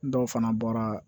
Dɔw fana bɔra